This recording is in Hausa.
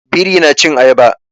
Biri na cin Ayaba.